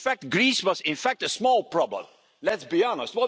us. Greece was, in fact, a small problem, let's be honest.